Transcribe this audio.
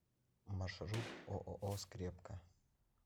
маршрут ооо скрепка